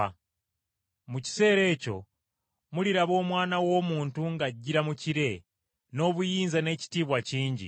Mu kiseera ekyo muliraba Omwana w’Omuntu ng’ajjira mu kire n’obuyinza n’ekitiibwa kingi.